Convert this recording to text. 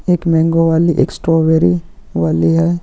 एक मेनगों वाली एक स्ट्रॉबेरी वाली है।